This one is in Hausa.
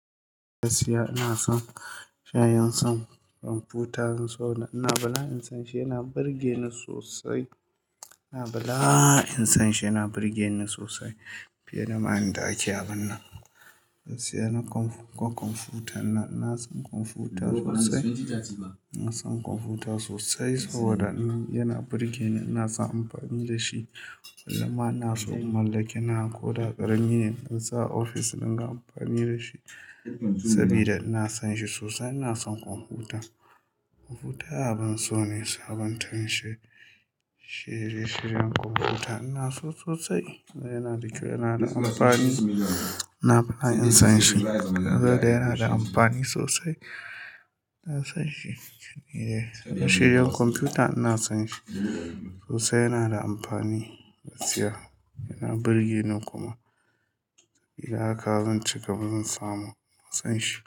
Gaskiya ina son shayin son kwamfuta. Ina suna, ina son shi yana burge ni sosai. Ina bla in san shi yana burge ni sosai fiye da ma'inda ake abun nan. Gaskiya na kwan kwamfuta, ina son kwamfuta sosai. Ina son kwamfuta sosai saboda yana burge ni, ina son amfani da shi. Kullum ma ina so in mallake nawa ko da ƙarami ne in sa a ofis ɗin na ina amfani da shi sabida ina son shi sosai. Ina son kwamfuta, kwamfuta abin so ne sabon tan shi, shirye shiryen kwamfuta ina so sosai. Yana da kyau, yana da amfani. Ina fa'a'a in san shi. Gaba daya yana da amfani sosai. Ina son shi. Yeah, shirye shiryen kwamfuta ina son shi sosai. Yana da amfani gaskiya, yana burge ni kuma. Idan haka zan cigaba zan samu. Ina son shi.